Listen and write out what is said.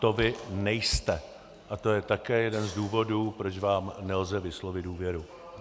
To vy nejste a to je také jeden z důvodů, proč vám nelze vyslovit důvěru.